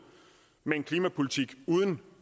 med en klimapolitik uden